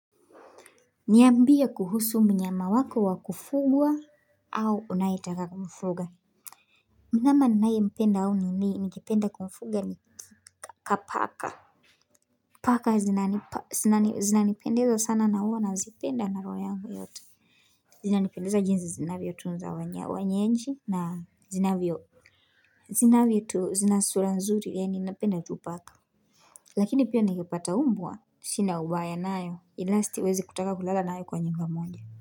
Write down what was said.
Niambie kuhusu mnyama wako wa kufugwa au unayetaka kumfuga mnyama ninayempenda au ningependa kumfuga ni paka. Paka hunipendeza sana na huwa nawapenda na roho yangu yote Wananipendeza jinsi wanavyotunza wenyeji na huwa na sura nzuri. Ninapenda tu paka Lakini pia ningepata mbwa, sina ubaya nayo. Ila siwezi kutaka kulala nayo kwa nyumba moja.